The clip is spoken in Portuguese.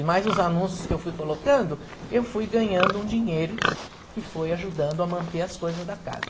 E mais os anúncios que eu fui colocando, eu fui ganhando um dinheiro que foi ajudando a manter as coisas da casa.